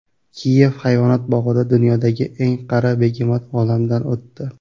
Kiyev hayvonot bog‘ida dunyodagi eng qari begemot olamdan o‘tdi.